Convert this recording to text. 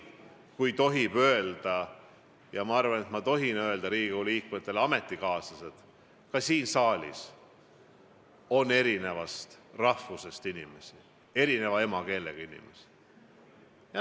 Kui tohib öelda ja ma arvan, et ma tohin öelda Riigikogu liikmetele, et ka siin saalis on eri rahvusest inimesi, eri emakeelega inimesi.